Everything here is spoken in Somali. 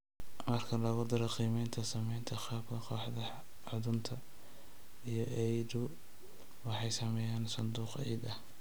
Marka lagu daro qiimaynta saamaynta qaabkan, kooxaha xuddunta iyo EIDU waxay sameeyeen sanduuq ciid ah